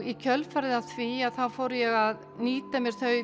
í kjölfarið á því fór ég að nýta mér þau